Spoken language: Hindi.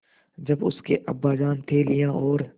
जब उसके अब्बाजान थैलियाँ और